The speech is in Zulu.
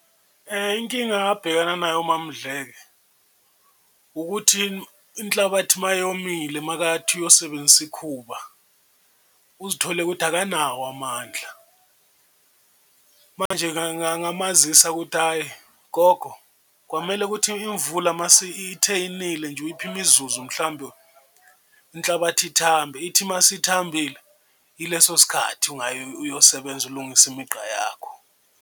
Inkinga abhekana nayo uMaMdleko ukuthi inhlabathi uma yomile uma athi uyosebenzisa ikhuba uzithole ukuthi akanawo amandla, manje-ke ngamazisa ukuthi ayi gogo kwamele ukuthi imvula mase ithe inile nje uyiphe imizuzu mhlawumbe inhlabathi ithambe, ithi uma isithambile ileso sikhathi ungaya uyosebenza ulungise imigqa yakho.